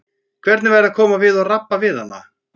Hvernig væri að koma við og rabba við hana?